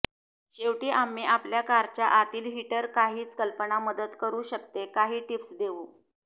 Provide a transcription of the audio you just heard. शेवटी आम्ही आपल्या कारच्या आतील हीटर काहीच कल्पना मदत करू शकते काही टिप्स देऊ